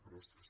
gràcies